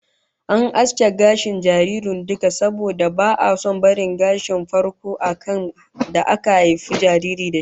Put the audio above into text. An aske gashin kan jaririn duka, saboda ba'a son barin gashin farko da aka haifi jariri da shi